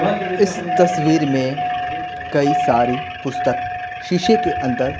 इस तस्वीर में कई सारी पुस्तक शीशे के अंदर--